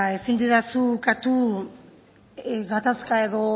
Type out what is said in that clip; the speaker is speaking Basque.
ezin didazu ukatu gatazka edo